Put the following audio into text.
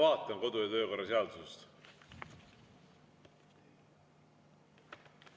Ma vaatan kodu- ja töökorra seadusest.